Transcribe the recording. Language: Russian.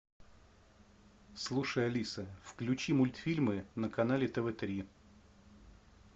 слушай алиса включи мультфильмы на канале тв три